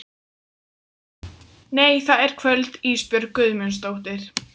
Nei það er kvöld Ísbjörg Guðmundsdóttir.